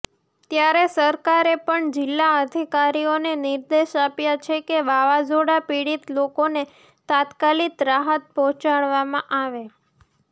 ત્યારે સરકારે પણ જિલાઅધિકારીઓને નિર્દેશ આપ્યા છે કે વાવાઝોડા પીડિત લોકોને તાત્કાલિક રાહત પહોંચાડવામાં આવે